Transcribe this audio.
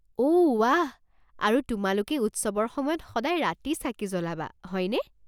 অ' ৱাহ। আৰু তোমালোকে উৎসৱৰ সময়ত সদায় ৰাতি চাকি জ্বলাবা, হয়নে?